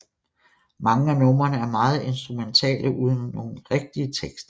Mange af numrene er meget instrumentale uden nogle rigtige tekster